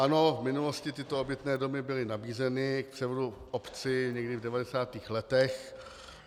Ano, v minulosti tyto obytné domy byly nabízeny k převodu obci, někdy v 90. letech.